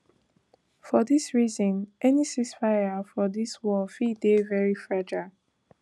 for dis reason any ceasefire for dis warfi dey very fragile